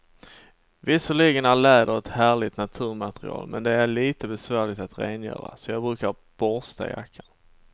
Visserligen är läder ett härligt naturmaterial, men det är lite besvärligt att rengöra, så jag brukar borsta jackan.